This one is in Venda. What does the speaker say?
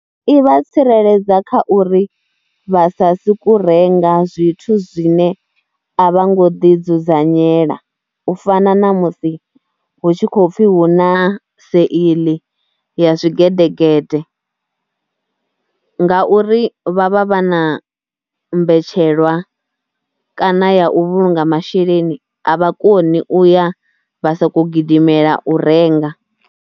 I vha tsireledza kha uri vha sa sokou renga zwithu zwine a vha ngo ḓidzudzanyela. U fana na musi hu tshi khou pfhi hu na sale ya zwigedegede ngauri vha vha vha na mbetshelwa kana ya u vhulunga masheleni, a vha koni u ya vha sa khou gidimela u renga.